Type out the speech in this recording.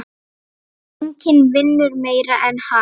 Enginn vinnur meira en hann.